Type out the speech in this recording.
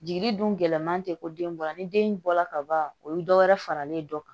Jigi dun gɛlɛnman tɛ ko den bɔra ni den bɔla ka ban o ye dɔ wɛrɛ faralen ye dɔ kan